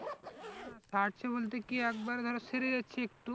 সারছে বলতে কি একবারে ধরে সেরে যাচ্ছে একটু,